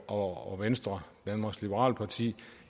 og venstre danmarks liberale parti